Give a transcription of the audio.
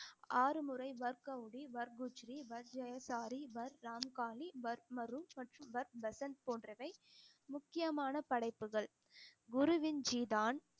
ஆறு முறை வர்க் கௌரி, வர்க் குச்சரி, வர்க் ஜெயசாரி, வர்க் ராமுக்காளி, வர்க் மற்றும் வர்க் வசந்த் போன்றவை முக்கியமான படைப்புகள் குருவின் ஜி தான்